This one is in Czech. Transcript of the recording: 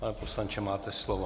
Pane poslanče, máte slovo.